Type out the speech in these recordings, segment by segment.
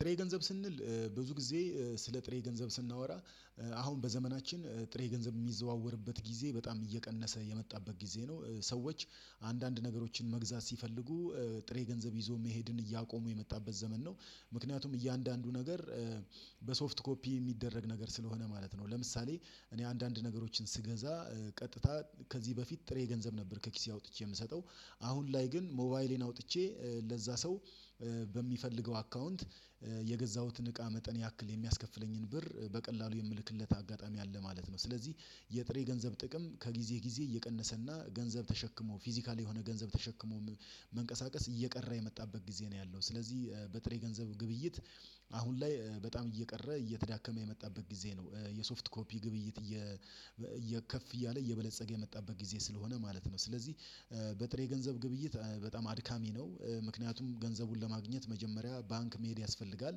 ጥሬ ገንዘብ ስንል ብዙ ጊዜ ስለ ጥሬ ገንዘብ ስናወራ አሁን በዘመናችን ጥሬ ገንዘብ የሚዘዋወርበት ጊዜ በጣም እየቀነሰ የመጣበት ጊዜ ነው። ሰዎች አንዳንድ ነገሮችን መግዛት ሲፈልጉ ጥሬ ገንዘብ ይዞ መሄድን እያቆሙ የመጣበት ዘመን ነው። ምክንያቱም እያንዳንዱ ነገር በሶፍት ኮፒ የሚደረግ ነገር ስለሆነ ማለት ነው። ለምሳሌ እኔ አንዳንድ ነገሮችን ስገዛ ቀጥታ ከዚህ በፊት ጥሬ ገንዘብ ነበር ከኪሴ አውጥቼ የምሰጠው አሁን ላይ ግን ሞባይሌን አውጥቼ ለዛ ሰው በሚፈልገው አካውንት የገዛሁትን እቃ መጠን ያክል የሚያስከፍለኝን ብር በቀላሉ የምልክለት አጋጣሚ አለ ማለት ነው። ስለዚህ የጥሬ ገንዘብ ጥቅም ከጊዜ ጊዜ እየቀነሰና ገንዘብ ተሸክሞ ፊዚካሊ የሆነ ገንዘብ ተሸክሞ መንቀሳቀስ እየቀራ የመጣበት ጊዜ ነው ያለው። ስለዚህ በጥሬ ገንዘብ ግብይት አሁን ላይ በጣም እየቀረ እየተዳከመ የመጣበት ጊዜ ነው። የሶፍት ኮፒ ግብይት እየ ከፍ እያለ እየበለፀገ የመጣበት ጊዜ ስለሆነ ማለት ነው። ስለዚህ በጥሬ ገንዘብ ግብይት በጣም አድካሚ ነው። ምክንያቱም ገንዘቡን ለማግኘት መጀመሪያ ባንክ መሄድ ያስፈልጋል።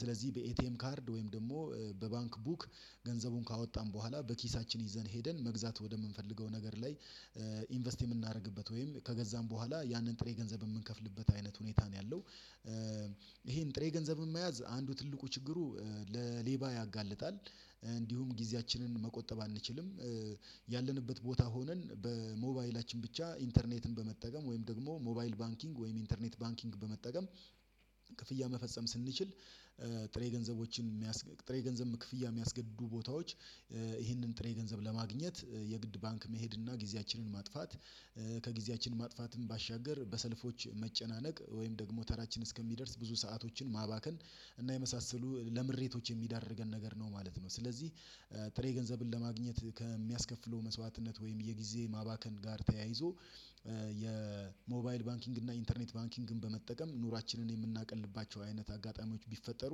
ስለዚህ በኤቲኤም ካርድ ወይም ደግሞ በባንክ ቡክ ገንዘቡን ካወጣን በኋላ በኪሳችን ይዘን ሄደን መግዛት ወደምንፈልገው ነገር ላይ ኢንቨስት የምናደርግበት ወይም ከገዛን በኋላ ያንን ጥሬ ገንዘብ የምንከፍልበት አይነት ሁኔታ ነው ያለው። ይሄን ጥሬ ገንዘብን መያዝ አንዱ ትልቁ ችግሩ ለሌባ ያጋልጣል። እንዲሁም ጊዜያችንን መቆጠብ አንችልም። ያለንበት ቦታ ሆነን በሞባይላችን ብቻ ኢንተርኔትን በመጠቀም ወይም ደግሞ ሞባይል ባንኪንግ ወይም ኢንተርኔት ባንኪንግ በመጠቀም። ክፍያ መፈጸም ስንችል ጥሬ ገንዘቦችን የሚያስገድዱ ጥሬ ገንዘብ ክፍያ የሚያስገድዱ ቦታዎች ይህንን ጥሬ ገንዘብ ለማግኘት የግድ ባንክ መሄድና ጊዜያችንን ማጥፋት። ከጊዜያችን ማጥፋትም ባሻገር በሰልፎች መጨናነቅ ወይም ደግሞ ተራችን እስኪደርስ ብዙ ሰአቶችን ማባከን እና የመሳሰሉ ለምሬቶች የሚዳርገን ነገር ነው ማለት ነው። ስለዚህ ጥሬ ገንዘብን ለማግኘት ከሚያስከፍለው መስዋዕትነት ወይም የጊዜ ማባከን ጋር ተያይዞ የሞባይል ባንኪንግ እና ኢንተርኔት ባንኪንግን በመጠቀም ኑሯችንን የምናቀልባቸው አይነት አጋጣሚዎች ቢፈጠሩ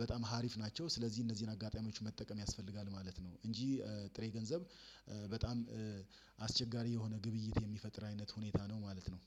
በጣም ሀሪፍ ናቸው። ስለዚህ እነዚህን አጋጣሚዎች መጠቀም ያስፈልጋል ማለት ነው። እንጂ ጥሬ ገንዘብ በጣም አስቸጋሪ የሆነ ግብይት የሚፈጥር አይነት ሁኔታ ነው ማለት ነው